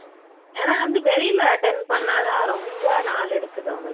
ஏன்னா வந்து வெளில attend பண்ணாதான் ரொம்ப நாள் எடுக்குது அவங்களுக்கு